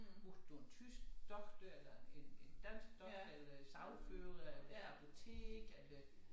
Brugte du en tysk doktor eller en en dansk doktor eller sagfører eller apotek eller